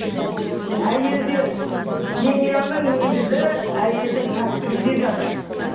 семьяның негізі әйелдің пәктігінде жатыр